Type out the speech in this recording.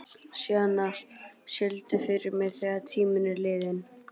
Sjana, syngdu fyrir mig „Þegar tíminn er liðinn“.